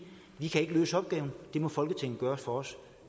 vi kan ikke løse opgaven det må folketinget gøre for os